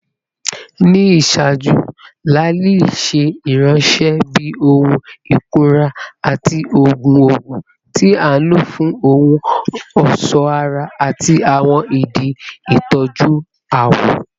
Ni iṣaaju, laali ṣe iranṣẹ bi ohun ikunra ati oogun oogun, ti a lo fun ohun ọṣọ ara ati awọn idi itọju awọ.